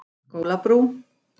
Skólabrú